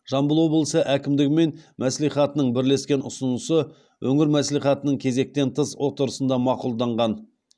жамбыл облысы әкімдігі мен мәслихатының бірлескен ұсынысы өңір мәслихатының кезектен тыс отырысында мақұлданған